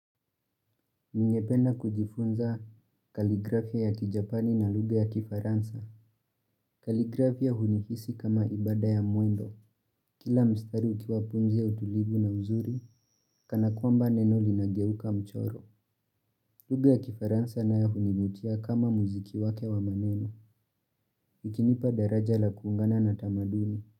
Ningependa kujifunza kaligrafia ya kijapani na lugha ya kifaransa. Kaligrafia hunihisi kama ibada ya mwendo. Kila mstari ukiwa pumzi ya utulivu na uzuri, kana kwamba neno linageuka mchoro. Lugha ya kifaransa na ya hunivutia kama muziki wake wa maneno. Ikinipa daraja la kuungana na tamaduni.